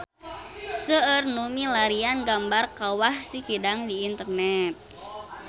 Seueur nu milarian gambar Kawah Sikidang di internet